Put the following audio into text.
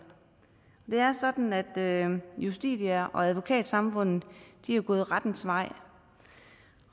det er sådan at justitia og advokatsamfundet er gået rettens vej